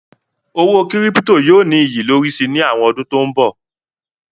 Owó kírípító yóò ní iyì lórí si ní àwọn ọdún tó ń bọ̀.